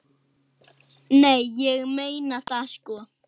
Nei, ég meina það, sko.